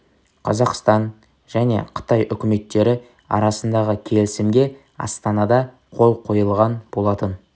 қазақстан және қытай үкіметтері арасындағы келісімге астанада қол қойылған болатын